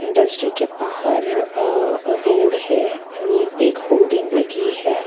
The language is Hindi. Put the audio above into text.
इंडस्ट्री के बाहर अ रोड है रोड पे एक होर्डिंग लगी है.